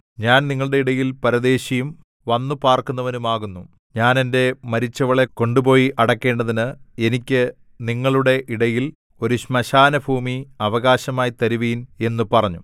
ഞാൻ നിങ്ങളുടെ ഇടയിൽ പരദേശിയും വന്നു പാർക്കുന്നവനും ആകുന്നു ഞാൻ എന്റെ മരിച്ചവളെ കൊണ്ടുപോയി അടക്കേണ്ടതിന് എനിക്ക് നിങ്ങളുടെ ഇടയിൽ ഒരു ശ്മശാനഭൂമി അവകാശമായി തരുവിൻ എന്നു പറഞ്ഞു